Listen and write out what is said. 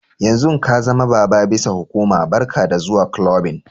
Yanzun ka zama baba bisa hukuma, barka da zuwa kulobin.